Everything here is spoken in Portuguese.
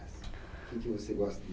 O que você gosta do